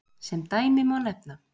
Sem dæmi má nefna